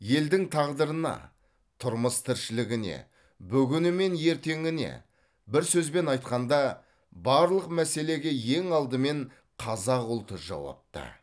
елдің тағдырына тұрмыс тіршілігіне бүгіні мен ертеңіне бір сөзбен айтқанда барлық мәселеге ең алдымен қазақ ұлты жауапты